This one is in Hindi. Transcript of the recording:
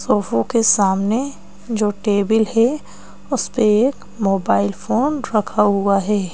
सोफा ओ के सामने जो टेबल है उस पे एक मोबाइल फोन रखा हुआ है।